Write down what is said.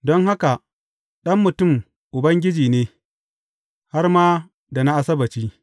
Don haka, Ɗan Mutum Ubangiji ne, har ma da na Asabbaci.